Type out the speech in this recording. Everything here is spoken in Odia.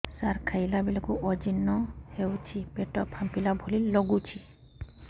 ସାର ଖାଇଲା ବେଳକୁ ଅଜିର୍ଣ ହେଉଛି ପେଟ ଫାମ୍ପିଲା ଭଳି ଲଗୁଛି